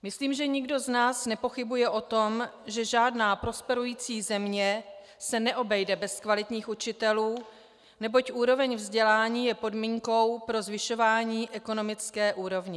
Myslím, že nikdo z nás nepochybuje o tom, že žádná prosperující země se neobejde bez kvalitních učitelů, neboť úroveň vzdělání je podmínkou pro zvyšování ekonomické úrovně.